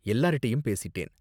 எல்லார்ட்டயும் பேசிட்டேன்.